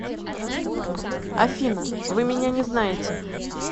афина вы меня не знаете